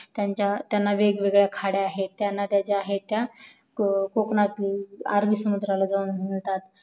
त्यांना वेगवेगळ्या खाडया आहेत त्या नद्या ज्या आहेत त्या कोकणातील अरबी समुद्राला जाऊन मिळतात